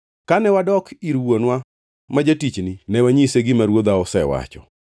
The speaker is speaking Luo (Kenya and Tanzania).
Kane wadok ir wuonwa ma jatichni, ne wanyise gima ruodha osewacho.